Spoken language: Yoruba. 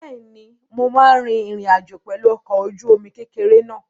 Bẹ́ẹ̀ni, mo máa rin ìrìn àjò pẹ̀lú ọkọ̀-ojúomi kékeré náà